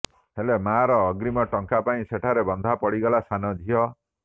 ହେଲେ ମାଆର ଅଗ୍ରୀମ ଟଙ୍କା ପାଇଁ ସେଠାରେ ବନ୍ଧା ପଡ଼ିଗଲା ସାନ ଝିଅ